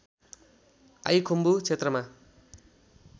I Khumbu क्षेत्रमा